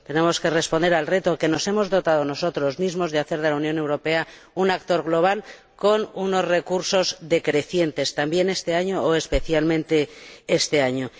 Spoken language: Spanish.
Tenemos que responder al reto, que nos hemos planteado nosotros mismos, de hacer de la Unión Europea un actor global con unos recursos decrecientes, también este año, o especialmente este año.